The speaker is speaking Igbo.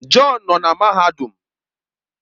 John nọ na mahadum